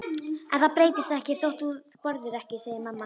En það breytist ekkert þótt þú borðir ekki, segir mamma.